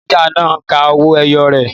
Ìyá ọlọ́jà náà ńka owó ẹyọ rẹ̀